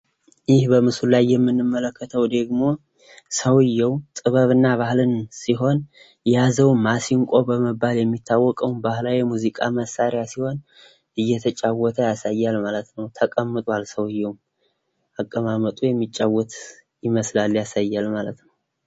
ይህ በምስሉ ላይ የምንመለከተው ሰውየው ጥበብን እና ባህልን ሲሆን የያዘውም ማሲንቆ በመባል የሚያወቅ ሲሆን የሚያወቀውም ባህላዊ የሙዚቃ መሳሪያ ሲሆን እየተጫውተ ያሳያል ማለት ነው። ተቀምጧል ሰውየ አቀማመጡ የሚጫወት ይመስላል ያሳያል ማለት ነው።